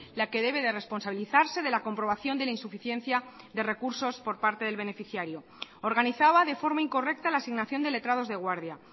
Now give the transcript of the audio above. la que debe de responsabilizarse de la comprobación de la insuficiencia de recursos por parte del beneficiario organizaba de forma incorrecta la asignación de letrados de guardia